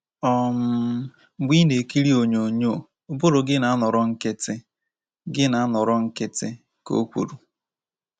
um “Mgbe ị na-ekiri onyonyo, ụbụrụ gị na-anọrọ nkịtị,” gị na-anọrọ nkịtị,” ka O kwuru.